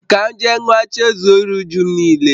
Ka m je ṅua, chezọ iru-újúm nile